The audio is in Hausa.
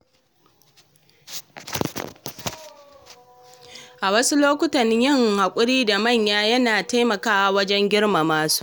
A wasu lokuta, yin haƙuri da manya yana taimakawa wajen girmama su.